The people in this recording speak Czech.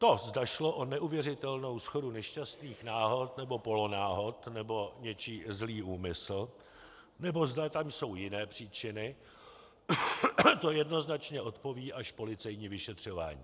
To, zda šlo o neuvěřitelnou shodu nešťastných náhod nebo polonáhod, nebo něčí zlý úmysl, nebo zda tam jsou jiné příčiny, to jednoznačně odpoví až policejní vyšetřování.